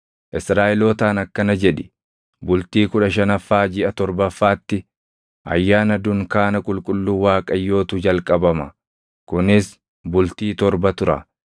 “Israaʼelootaan akkana jedhi; ‘Bultii kudha shanaffaa jiʼa torbaffaatti Ayyaana Dunkaana Qulqulluu Waaqayyootu jalqabama; kunis bultii torba tura.